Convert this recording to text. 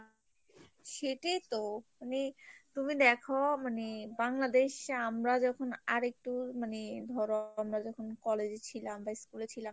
সেটিইতো মানে, তুমি দেখো মানে বাংলাদেশে আমরা যখন আর একটু মানে ধরো আমরা যখন college এ ছিলাম বা school এ ছিলাম